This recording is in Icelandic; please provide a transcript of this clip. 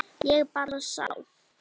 Ég bara sá.